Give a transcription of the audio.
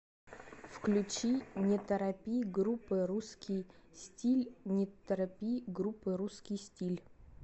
включи не торопи группы русский стилль не торопи группы русский стиль